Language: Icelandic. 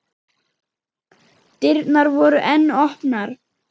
Dyrnar voru enn opnar.